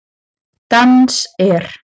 Dans er?